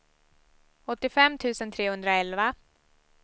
åttiofem tusen trehundraelva